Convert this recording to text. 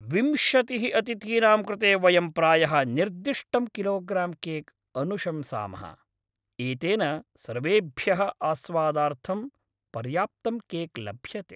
विंशतिः अतिथीनां कृते वयं प्रायः निर्दिष्टं किलोग्रां केक् अनुशंसामः, एतेन सर्वेभ्यः आस्वादार्थं पर्याप्तं केक् लभ्यते।